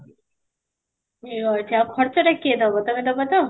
ୟେ ହଉ ଆଛା ଖର୍ଚ୍ଚ ଟା କିଏ ଦବ ତମେ ଦବ ତ?